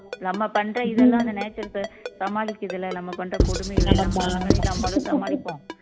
பண்ற இதுதான் அந்த natural சமாளிக்கிறது இல்லை நம்ம பண்ற கொடுமைகளை நம்மளும் சமாளிப்போம்